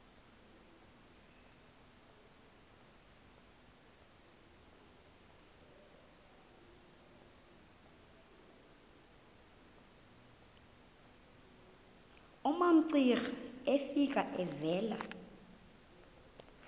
umamcira efika evela